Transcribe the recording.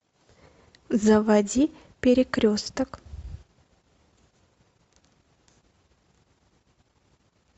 заводи перекресток